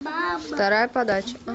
вторая подача